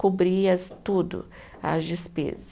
Cobria tudo, as despesas.